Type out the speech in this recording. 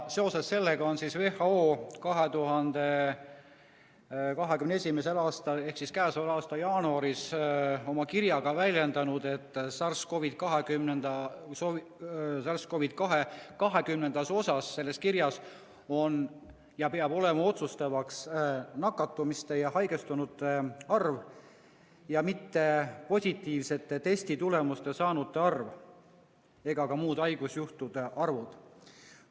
Seoses sellega on WHO oma 2021. aastal ehk siis k.a jaanuaris avaldatud kirja 20. osas väljendanud, et SARS-CoV-2 puhul peab olema otsustav nakatumiste ja haigestunute arv, mitte positiivse testitulemuse saanute arv ega ka muud haigusjuhtude arvud.